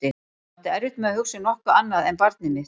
Ég átti erfitt með að hugsa um nokkuð annað en barnið mitt.